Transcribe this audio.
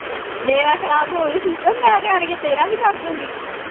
ਮੇਰਾ ਖਰਾਬ ਹੋ ਜਾਉ system ਮੈਂ ਇੱਥੇ ਆਣਕੇ ਤੇਰਾ ਵੀ ਕਰ ਦੂੰਗੀ